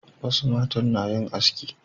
wasu matan na yin haski